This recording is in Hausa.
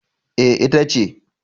E, ita ce.